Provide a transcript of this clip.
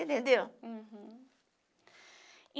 você entendeu?